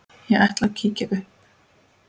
Ég ætla að kíkja upp